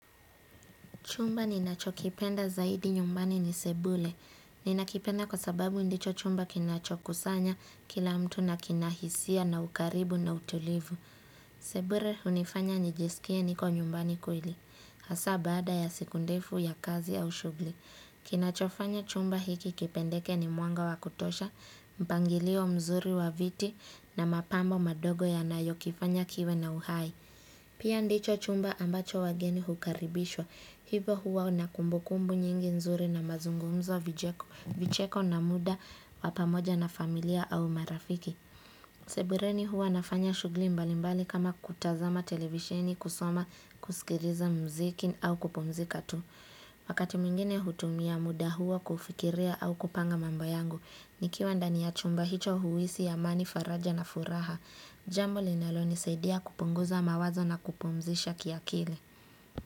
Chumba ninachokipenda zaidi nyumbani ni sebule. Ninakipenda kwa sababu ndicho chumba kinacho kusanya kila mtu na kinahisia na ukaribu na utulivu. Sebule hunifanya nijisikie niko nyumbani kweli. Hasa baada ya siku ndefu ya kazi au shughuli. Kinachofanya chumba hiki kipendeke ni mwanga wa kutosha, mpangilio mzuri wa viti na mapambo madogo ya nayokifanya kiwe na uhai. Pia ndicho chumba ambacho wageni hukaribishwa, hivo huwa na kumbukumbu nyingi nzuri na mazungumzo vicheko na muda wa pamoja na familia au marafiki. Sebureni huwa nafanya shughuli mbalimbali kama kutazama televisheni, kusoma, kusikiriza muziki au kupumzika tu. Wakati mwingine hutumia muda huo kufikiria au kupanga mambo yangu, nikiwa ndani ya chumba hicho huisi amani, faraja na furaha. Jambo linalonisadia kupunguza mawazo na kupumzisha kiakili.